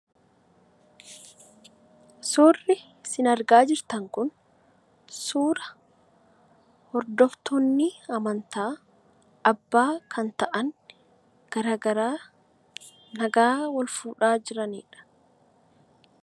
Suurri isin argaa jirtan kun suura hordoftoonni amantaa, abbaa kan ta'an garaa garaa nagaa wal fuudhaa jiraniidha.